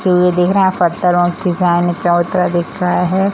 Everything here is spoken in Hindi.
ये दिख रहा है पत्थर और डिज़ाइन चबूतरा दिख रहा है ।